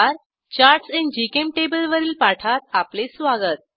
charts in GChemTable वरील पाठात आपले स्वागत